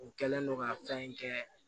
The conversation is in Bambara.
U kɛlen don ka fɛn in kɛ